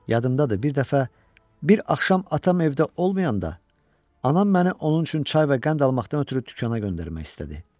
Yadımdadır, bir dəfə bir axşam atam evdə olmayanda anam məni onun üçün çay və qənd almaqdan ötrü dükanə göndərmək istədi.